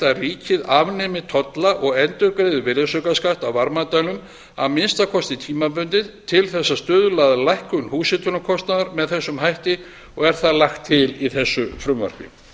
að ríkið afnemi tolla og endurgreiði virðisaukaskatt af varmadælum að minnsta kosti tímabundið til þess að stuðla að lækkun húshitunarkostnaðar með þessum hætti og er það lagt til í þessu frumvarpi